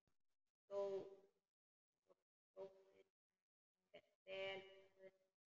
Sóttist henni vel ferðin.